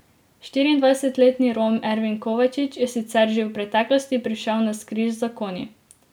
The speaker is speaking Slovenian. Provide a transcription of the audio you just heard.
Štiriindvajsetletni Rom Ervin Kovačič je sicer že v preteklosti prišel navzkriž z zakoni.